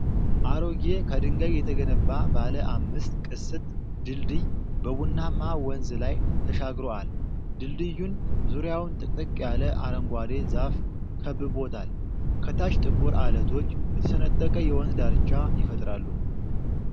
አሮጌ፣ ከድንጋይ የተገነባ ባለ አምስት ቅስት ድልድይ በቡናማ ወንዝ ላይ ተሻግሮአል። ድልድዩን ዙሪያውን ጥቅጥቅ ያለ አረንጓዴ ዛፍ ከብቦታል። ከታች ጥቁር ዐለቶች የተሰነጠቀ የወንዝ ዳርቻ ይፈጥራሉ።